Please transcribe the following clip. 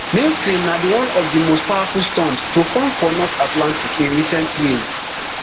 milton na di one of di most powerful storms to form for north atlantic in recent years